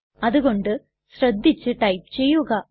അതു കൊണ്ട് ശ്രദ്ധിച്ചു ടൈപ്പ് ചെയ്യുക